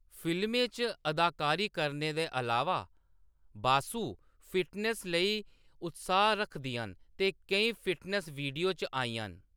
फिल्में च अदाकारी करने दे अलावा, बासु फिटनेस लेई उत्साह् रक्खदियां न ते केईं फिटनेस वीडियो च आईयां न।